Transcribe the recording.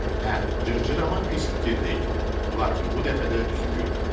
Hə, cırcırama pis fikir deyildi, lakin bu dəfə də üzü gülmədi.